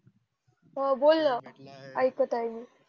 हो बोल ना आयक्त आहे मी